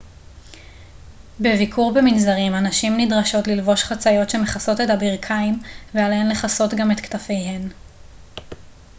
בביקור במנזרים הנשים נדרשות ללבוש חצאיות שמכסות את הברכיים ועליהן לכסות גם את כתפיהן